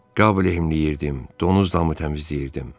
Qab lehmləyirdim, donuz damı təmizləyirdim.